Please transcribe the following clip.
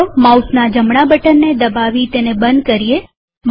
તો ચાલો માઉસના જમણા બટનને દબાવી તેને બંધ કરીએ